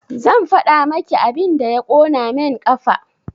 Zan faɗa maki abin da ya ƙona main ƙafa